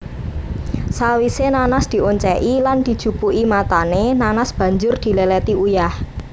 Sawise nanas dioncéki lan dijupuki matané nanas banjur diléléti uyah